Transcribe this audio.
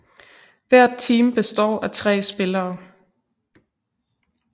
Hvert team består af 3 spillere